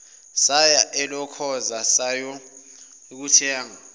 saya elokhoza sayokuthenga